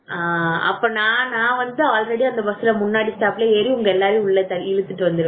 அப்பா அந்த பஸ்ல முன்னாடி ஸ்டாப் ஏறி உங்களை எல்லாத்தையும் உள்ள தள்ளி விட்டுட்டு தள்ளி விட்டுட்டு வந்துடுவேன்